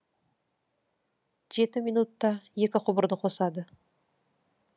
жеті минутта екі құбырды қосады